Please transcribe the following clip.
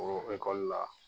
O ekɔli la